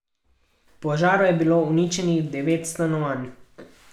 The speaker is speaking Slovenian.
V požaru je bilo uničenih devet stanovanj.